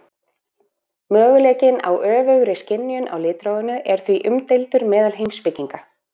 Möguleikinn á öfugri skynjun á litrófinu er því umdeildur meðal heimspekinga.